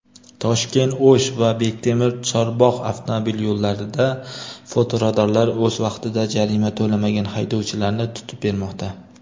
"Toshkent—O‘sh" va "Bektemir—Chorbog‘" avtomobil yo‘llarida fotoradarlar o‘z vaqtida jarima to‘lamagan haydovchilarni tutib bermoqda.